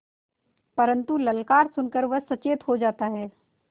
परन्तु ललकार सुन कर वह सचेत हो जाता है